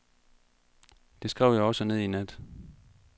Det skrev jeg også ned i nat.